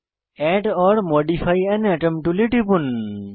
add or modify an atom টুলে টিপুন